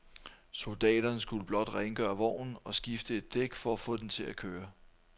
Soldaterne skulle blot rengøre vognen og skifte et dæk for at få den til at køre.